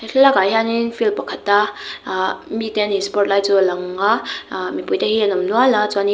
he thla lak ah hianin field pakhata ahh mite an in sport lai chu a lang a ahh mipuite hi an awm nual a chuan in --